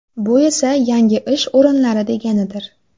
Bu esa, yangi ish o‘rinlari deganidir.